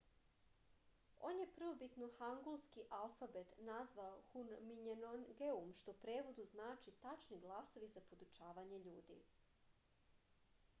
on je prvobitno hangulski alfabet nazvao hunminjeongeum što u prevodu znači tačni glasovi za podučavanje ljudi